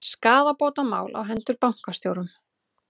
Skaðabótamál á hendur bankastjórum